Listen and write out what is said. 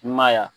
I ma ye wa